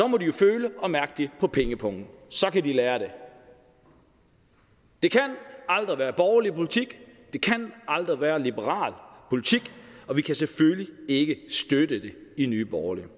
må de jo føle og mærke det på pengepungen så kan de lære det det kan aldrig være borgerlig politik det kan aldrig være liberal politik og vi kan selvfølgelig ikke støtte det i nye borgerlige